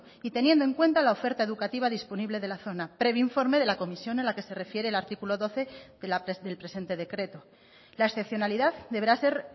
y teniendo en cuanta la oferta educativa disponible de la zona previo informe de la comisión a la que se refiere el artículo doce del presente decreto la excepcionalidad deberá ser